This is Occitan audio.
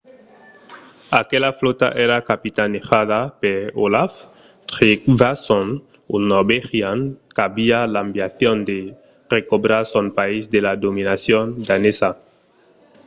aquela flòta èra capitanejada per olaf trygvasson un norvegian qu’aviá l’ambicion de recobrar son país de la dominacion danesa